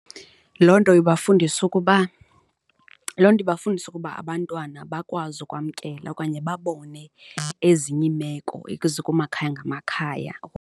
Loo nto ibafundisa ukuba, loo nto ibafundisa ukuba abantwana bakwazi ukwamkela okanye babone ezinye iimeko ezikumakhaya ngamakhaya.